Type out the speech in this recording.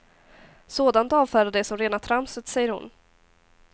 Sådant avfärdar de som rena tramset, säger hon.